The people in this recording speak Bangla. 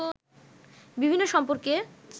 বিভিন্ন সম্পর্কে